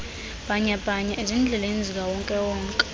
bhanyabhanya ezindleleni zikawonkewonke